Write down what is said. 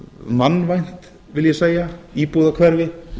mannvænt vil ég segja íbúðarhverfi